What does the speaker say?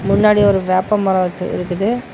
முன்னாடி ஒரு வேப்ப மரோ வெச்சுருக்குது.